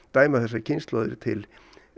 dæma þessar kynslóðir til